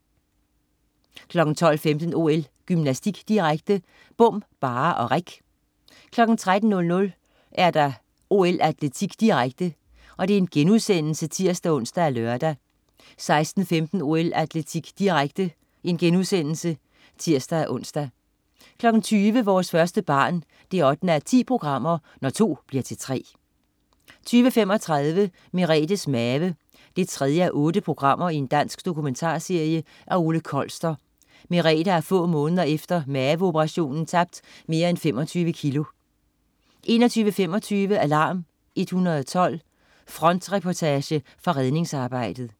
12.15 OL: Gymnastik, direkte. Bom, barre og reck 13.00 OL: Atletik, direkte* (tirs-ons og lør) 16.15 OL: Atletik, direkte* (tirs-ons) 20.00 Vores første barn 8:10. Når to bliver til tre 20.35 Merethes Mave 3:8. Dansk dokumentarserie af Ole Kolster. Merethe har få måneder efter maveoperationen tabt mere end 25 kg 21.25 Alarm 112. Frontreportage fra redningsarbejdet